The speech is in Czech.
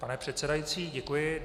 Pane předsedající, děkuji.